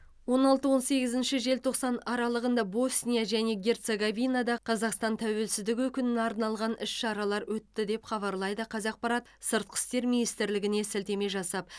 он алты он сегізінші желтоқсан аралығында босния және герцеговинада қазақстан тәуелсіздігі күніне арналған іс шаралар өтті деп хабарлайды қазақпарат сыртқы істер министрлігіне сілтеме жасап